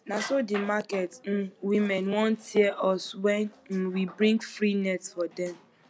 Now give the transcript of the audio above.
na so the market um women wan tear us wen um we bring free net for dem